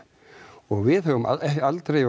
og við höfum ekki aldrei